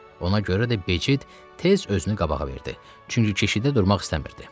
Ona görə də Becid tez özünü qabağa verdi, çünki keşiyə durmaq istəmirdi.